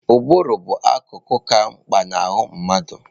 Ụbụrụ bụ akụkụ ka mkpa na ahụ mmadụ.